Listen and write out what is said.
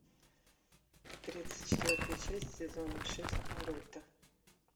тридцать четвертая часть сезона шесть наруто